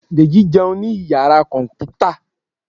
Deji jẹun ni iyara kọnputa